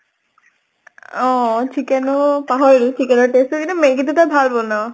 অহ chicken ও পাহৰিলো, chicken ৰ taste টো কিন্তু maggie টো তই ভাল বনাঅ।